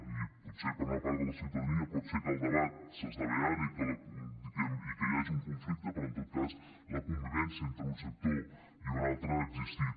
i potser per una part de la ciutadania pot ser que el debat s’esdevé ara i que hi hagi un conflicte però en tot cas la convivència entre un sector i un altre ha existit